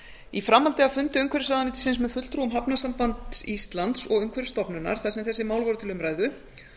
í framhaldi af fundi umhverfisráðuneytisins með fulltrúum hafnasambands íslands og umhverfisstofnunar þar sem þessi mál voru til umræðu